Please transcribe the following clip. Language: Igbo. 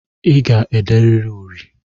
I ga-ederịrị uri!